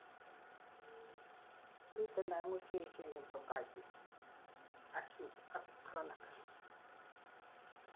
miten oengu cheechen en bronchitis: acute ak chronic